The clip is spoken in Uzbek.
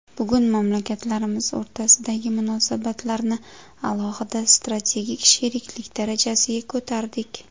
Bugun mamlakatlarimiz o‘rtasidagi munosabatlarni alohida strategik sheriklik darajasiga ko‘tardik.